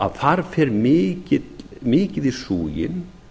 að þar fer mikið í súginn